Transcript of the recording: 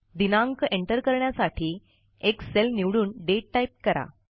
दिनांक एंटर करण्यासाठी एक सेल निवडून डेट टाईप करा